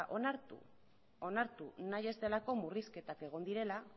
onartu nahi ez delako murrizketak egon direla